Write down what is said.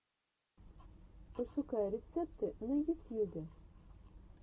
пошукай рецепты на ютьюбе